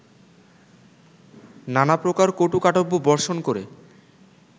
নানাপ্রকার কটুকাটব্য বর্ষণ করে